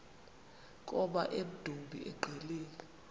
koma emdumbi engqeleni